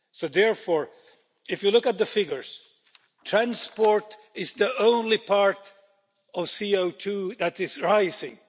Therefore, if you look at the figures, transport is the only part of CO2 that is rising.